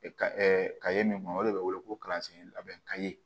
ka ye min fɔ o de bɛ wele ko kalansen labɛn ka ye